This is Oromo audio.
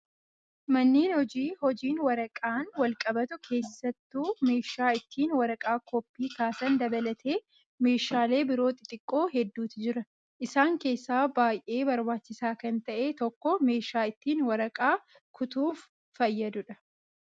Manneen hojii hojiin waraqaan wal qabatu keessattu meeshaa ittiin waraqaa koppii kaasan dabalatee meeshaalee biroo xixiqqoo hedduutu jira. Isaan keessaa baay'ee barbaachisaa kan ta'e tokko meeshaa ittiin waraqaa kutuuf fayyadudha.